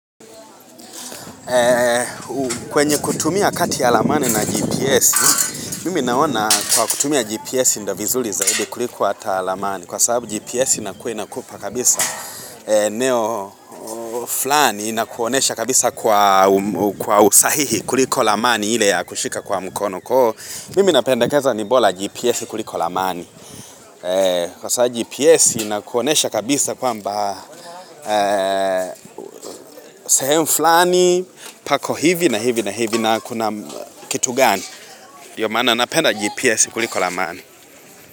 Kwenye kutumia kati yalamani na GPS, mimi naona kuwa kutumia GPS ndovizuri zaidi kuliko hata lamani Kwa sababu GPS inakuainakupa kabisa eneo fulani na kuonyesha kabisa kwa usahihi kuliko lamani ile ya kushika kwa mkono Kwahivyo mimi napendekeza ni bora GPS kuliko lamani Kwa sababu GPS inakuonesha kabisa kwamba sehemu fulani, pako hivi na hivi na hivi na kitu gani ndiyomaana napenda GPS kuliko lamani.